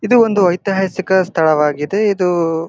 ಇದು ಒಂದು ಐತಿಹಾಸಿಕ ಸ್ಥಳವಾಗಿದೆ ಇದು--